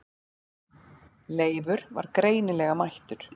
Leifur var greinilega mættur.